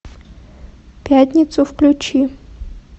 пятницу включи